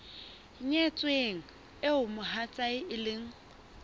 nyetsweng eo mohatsae e leng